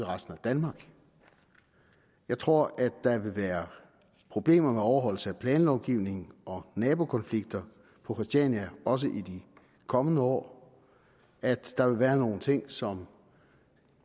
resten af danmark jeg tror at der vil være problemer med overholdelse af planlovgivningen og nabokonflikter på christiania også i de kommende år at der vil være nogle ting som